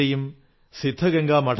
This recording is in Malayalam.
you your mind and heart